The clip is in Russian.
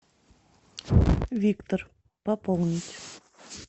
виктор пополнить